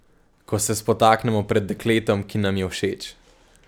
Ko se spotaknemo pred dekletom, ki nam je všeč.